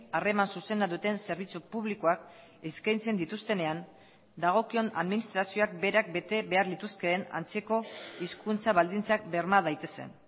harreman zuzena duten zerbitzu publikoak eskaintzen dituztenean dagokion administrazioak berak bete behar lituzkeen antzeko hizkuntza baldintzak berma daitezen